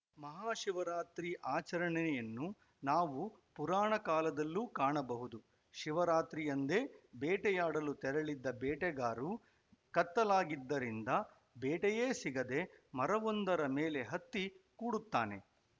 ಮಹಾ ಶಿವರಾತ್ರಿ ಆಚರಣೆಯನ್ನು ನಾವು ಪುರಾಣ ಕಾಲದಲ್ಲೂ ಕಾಣಬಹುದು ಶಿವರಾತ್ರಿಯಂದೇ ಬೇಟೆಯಾಡಲು ತೆರಳಿದ್ದ ಬೇಟೆಗಾರು ಕತ್ತಲಾಗಿದ್ದರಿಂದ ಬೇಟೆಯೇ ಸಿಗದೇ ಮರವೊಂದರ ಮೇಲೆ ಹತ್ತಿ ಕೂಡುತ್ತಾನೆ